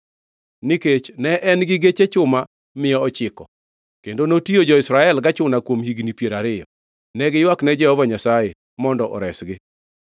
Nikech ne en-gi geche chuma mia ochiko kendo notiyo jo-Israel gachuna kuom higni piero ariyo, ne giywakne Jehova Nyasaye mondo oresgi.